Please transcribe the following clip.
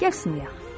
Gəl sınayaq.